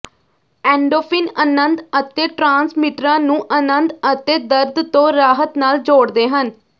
endorphin ਅਨੰਦ ਅਤੇ ਟ੍ਰਾਂਸਮਿਟਰਾਂ ਨੂੰ ਅਨੰਦ ਅਤੇ ਦਰਦ ਤੋਂ ਰਾਹਤ ਨਾਲ ਜੋੜਦੇ ਹਨ